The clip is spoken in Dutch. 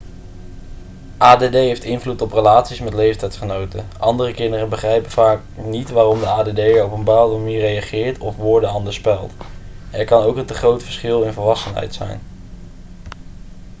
add heeft invloed op relaties met leeftijdsgenoten andere kinderen begrijpen vaak niet waarom de add'er op een bepaalde manier reageert of woorden anders spelt er kan ook een te groot verschil in volwassenheid zijn